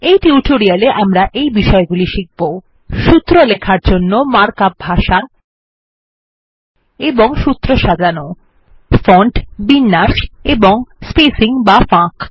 এই টিউটোরিয়ালে আমরা এই বিষয়গুলি শিখব সূত্র লেখার জন্য মার্ক আপ ভাষা এবং সূত্র সাজানো ফন্ট বিন্যাস ও স্পেসিং বা ফাঁক